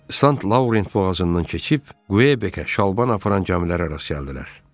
Saint Laurent boğazından keçib Quebecə şalban aparan camilərə rast gəldilər.